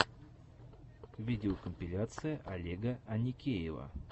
видеокомпиляция олега аникеева